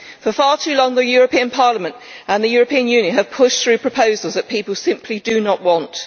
For far too long, the European Parliament and the European Union have pushed through proposals that people simply do not want.